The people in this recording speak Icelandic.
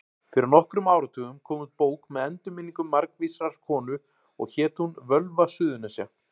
Fyrir nokkrum áratugum kom út bók með endurminningum margvísrar konu og hét hún Völva Suðurnesja.